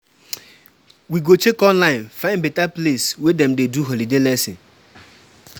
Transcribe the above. I wan try um learn how to cook jollof rice for um holiday, make um I impress pipo.